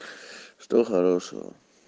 что хорошего